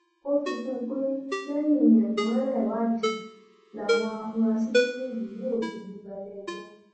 ó fi kún un pé lẹyìn ẹkúnrẹrẹ ìwádìí làwọn afurasí méjèèjì yóò fijú bá iléẹjọ